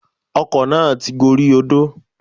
Ọkọ̀ náà ti gorí odó